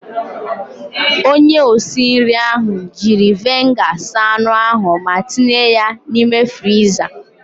Onye osinri ahụ jiri veniga saa anụ ahụ ma tinye ya n'ime friza.